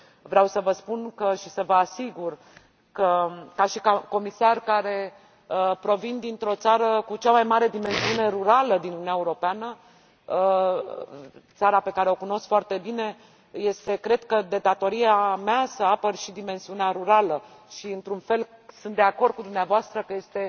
Vreau să vă spun și să vă asigur că, ca comisar care provine din țara cu cea mai mare dimensiune rurală din Uniunea Europeană, țara pe care o cunosc foarte bine, este, cred, de datoria mea să apăr și dimensiunea rurală. Într un fel, sunt de acord cu dumneavoastră că